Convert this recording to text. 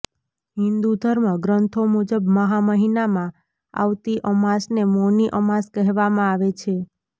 હિન્દુ ધર્મ ગ્રંથો મુજબ મહા મહિનામાં આવતી અમાસને મૌની અમાસ કહેવામાં આવે છે